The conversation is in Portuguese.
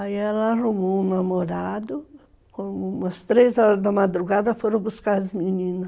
Aí ela arrumou um namorado, umas três horas da madrugada foram buscar as meninas.